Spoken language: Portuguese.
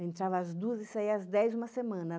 Entrava às duas e saía às dez uma semana.